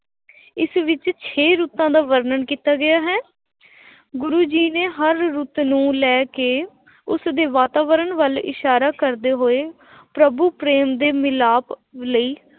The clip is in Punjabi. ਇਸ ਵਿੱਚ ਛੇ ਰੁੱਤਾਂ ਦਾ ਵਰਣਨ ਕੀਤਾ ਗਿਆ ਹੈੈ ਗੁਰੂ ਜੀ ਨੇ ਹਰ ਰੁੱਤ ਨੂੰ ਲੈ ਕੇ ਉਸਦੇ ਵਾਤਾਵਰਨ ਵੱਲ ਇਸ਼ਾਰਾ ਕਰਦੇ ਹੋਏ ਪ੍ਰਭੂ ਪ੍ਰੇਮ ਦੇ ਮਿਲਾਪ ਲਈ